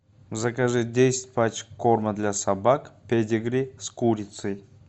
закажи десять пачек корма для собак педигри с курицей